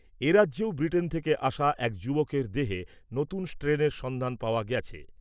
এ রাজ্যেও ব্রিটেন থেকে আসা এক যুবকের দেহে নতুন স্ট্রেনের সন্ধান পাওয়া গেছে।